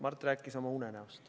Mart rääkis oma unenäost.